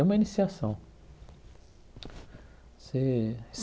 É uma iniciação. Você